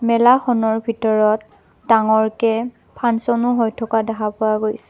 মেলাখনৰ ভিতৰত ডাঙৰকে ফাঞ্চন ও হৈ থকা দেখা পোৱা গৈছ--